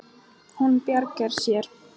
Hún bjargar sér.